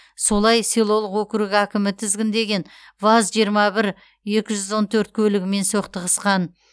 солай селолық округ әкімі тізгіндеген ваз жиырма бір екі жүз он төрт көлігімен соқтығысқан